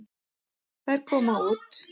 Þær koma úr